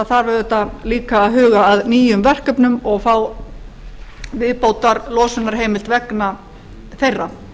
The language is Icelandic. þarf auðvitað líka að huga að nýjum verkefnum og fá viðbótarlosunarheimild vegna þeirra